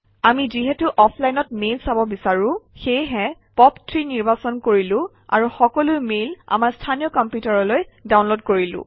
আমি যিহেতু অফলাইনত মেইল চাব বিচাৰোঁ সেয়েহে পপ3 নিৰ্বাচন কৰিলো আৰু সকলো মেইল আমাৰ স্থানীয় কম্পিউটাৰলৈ ডাউনলোড কৰিলো